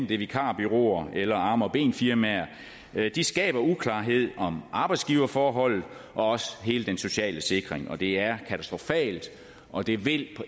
via vikarbureauer eller arme og ben firmaer skaber uklarhed om arbejdsgiverforholdet og også hele den sociale sikring det er katastrofalt og det vil